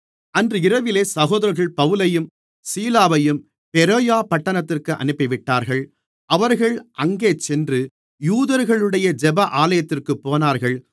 அன்று இரவிலே சகோதரர்கள் பவுலையும் சீலாவையும் பெரோயா பட்டணத்திற்கு அனுப்பிவிட்டார்கள் அவர்கள் அங்கே சென்று யூதர்களுடைய ஜெப ஆலயத்திற்குப் போனார்கள்